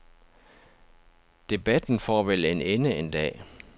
Debatten får vel en ende en dag.